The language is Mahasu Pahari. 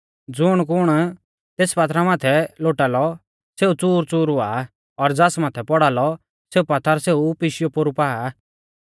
ज़ुणकुण तेस पात्थरा माथै लोटालौ सेऊ च़ूरच़ूर हुआ और ज़ास माथै पौड़ालौ सेऊ पात्थर सेऊ पिशीया पोरु पा